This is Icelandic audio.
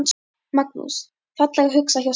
Magnús: Fallega hugsað hjá stelpunni?